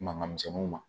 Mankan misɛnninw ma